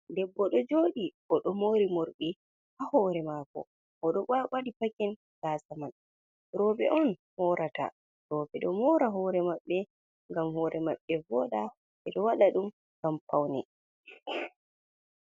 Ɗeɓɓo ɗo jooɗi, oɗo mori morɗi ha hore maako. Oɗo waɗi pakin gasamai. Roɓe on morata, roɓe ɗo mora hore maɓɓe ngam hore maɓɓe voɗa. Ɓe ɗo waɗa ɗum ngam paune.